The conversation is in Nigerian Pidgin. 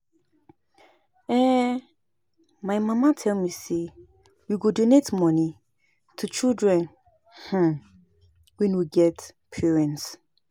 um My mama tell me say we go donate money to children um wey no get parents